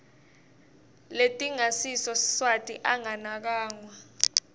letingasiso siswati anganakwa